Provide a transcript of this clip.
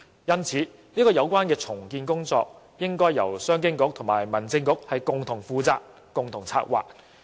因此，有關的重建工作理應由商務及經濟發展局和民政事務局共同負責及策劃。